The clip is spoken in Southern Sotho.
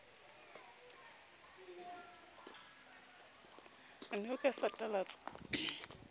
o ne o ka satalatsa